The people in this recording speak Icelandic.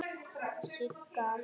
Sigga að gera?